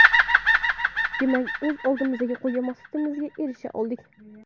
Demak, o‘z oldimizga qo‘ygan maqsadimizga erisha oldik.